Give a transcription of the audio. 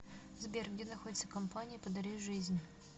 сбер где находится компания подари жизнь